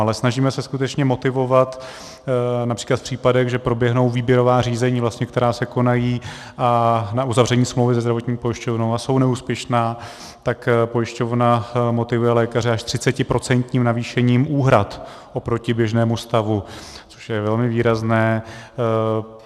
Ale snažíme se skutečně motivovat, například v případech, že proběhnou výběrová řízení, která se konají na uzavření smlouvy se zdravotní pojišťovnou a jsou neúspěšná, tak pojišťovna motivuje lékaře až 30% navýšením úhrad oproti běžnému stavu, což je velmi výrazné.